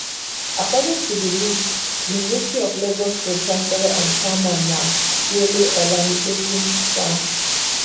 according to di list university of lagos pro chancellor and chairman na wole olanipekun san